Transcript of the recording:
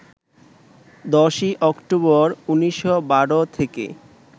১০ই অক্টোবর, ১৯১২ থেকে